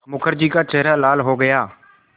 मुखर्जी का चेहरा लाल हो गया